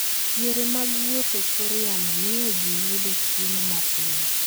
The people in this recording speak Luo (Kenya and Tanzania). Yore mag wuoth e kor yamo miyo ji yudo chiemo mapiyo.